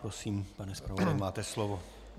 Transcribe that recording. Prosím, pane zpravodaji, máte slovo.